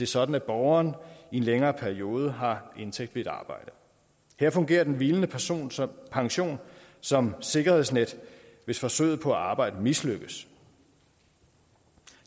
sådan at borgeren i en længere periode har indtægt ved et arbejde her fungerer den hvilende pension som pension som sikkerhedsnet hvis forsøget på at arbejde mislykkes